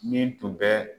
Min tun bɛ